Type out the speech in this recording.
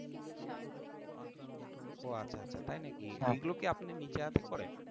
ও আচ্ছা আচ্ছা তাই নাকি এগুলো কি আপনি নিজের হাতে করেন?